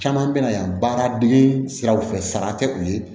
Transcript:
Caman bɛna yan baara dege siraw fɛ sara tɛ u ye